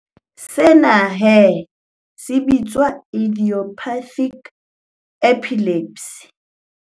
Sena he se bitswa idiopathic epilepsy.